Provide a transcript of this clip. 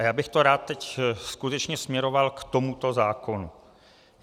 A já bych to rád teď skutečně směroval k tomuto zákonu.